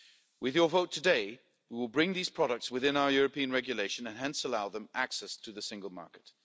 EU. With your vote today, we will bring these products within our European regulation and hence allow them access to the single market.